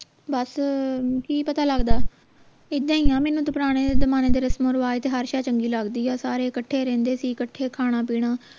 ਬਸ ਕਿ ਪਤਾ ਲਗਦਾ ਇਦਾਂ ਹੀ ਆ ਮੈਨੂੰ ਤਾਂ ਪੁਰਾਣੇ ਜਮਾਨੇ ਦੇ ਰਸਮੋਂ ਰਿਵਾਜ ਤੇ ਹਰ ਸ਼ੈ ਚੰਗੀ ਲਗਦੀ ਆ ਸਾਰੇ ਕੱਠੇ ਰਹਿੰਦੇ ਸੀ ਕੱਠੇ ਖਾਣਾ ਪੀਣਾ